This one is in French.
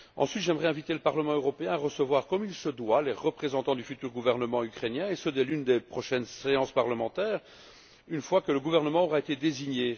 Deuxièment, j'aimerais inviter le Parlement européen à recevoir, comme il se doit, les représentants du futur gouvernement ukrainien, et ce, dès l'une des prochaines séances parlementaires, une fois que le gouvernement aura été désigné.